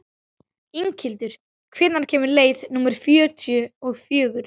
Inghildur, hvenær kemur leið númer fjörutíu og fjögur?